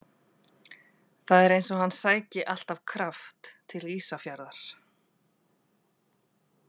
Það er eins og hann sæki alltaf kraft til Ísafjarðar.